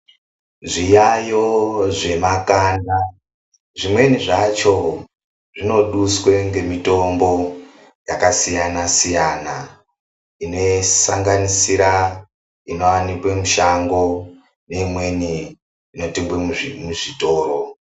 Zviyaiyo zvekamanda zvimweni zvacho zvinoduswe ngemitombo dzakasiyana siyana inosanganisira inowanikwe mushango neimweni inotengwe muzvitoro.